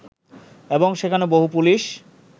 এবং সেখানে বহু পুলিশ